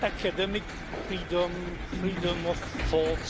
academic freedom or freedom of thought.